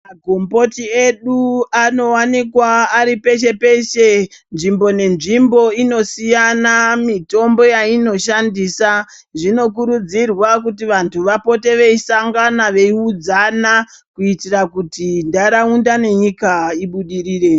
Magomboti edu anowanikwa ari peshe-peshe. Nzvimbo nenzvimbo inosiyana mitombo yainoshandisa. Zvinokurudzirwa kuti vantu vapote veisangana veiudzana kuitira kuti ntaraunda nenyika ibudirire.